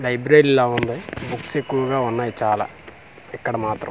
library లా ఉంది books ఎక్కువుగా ఉన్నాయి చాలా ఇక్కడ మాత్రం--